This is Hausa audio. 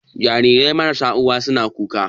Jariran marasa uwa suna kuka